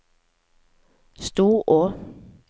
Storå